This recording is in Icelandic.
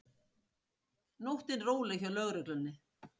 Nóttin róleg hjá lögreglunni